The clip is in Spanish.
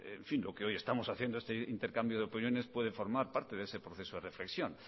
y lo que hoy estamos haciendo este intercambio de opiniones puede formar parte de ese proceso de reflexión